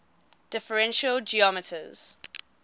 differential geometers